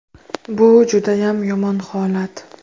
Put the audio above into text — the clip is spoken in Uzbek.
Bu judayam yomon holat.